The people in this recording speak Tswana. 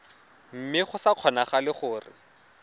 mme go sa kgonagale gore